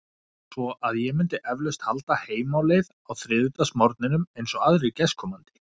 Svo að ég myndi eflaust halda heim á leið á þriðjudagsmorgninum, eins og aðrir gestkomandi.